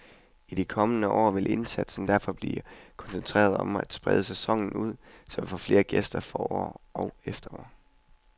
I de kommende år vil indsatsen derfor blive koncentreret om at sprede sæsonen ud, så vi får flere gæster forår og efterår.